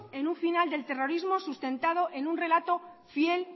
en un final del terrorismo sustentado en un relato fiel